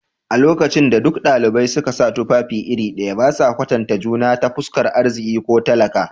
A lokacin da duk dalibai suka sa tufafi iri ɗaya, ba sa kwatanta juna ta fuskar arziki ko talaka.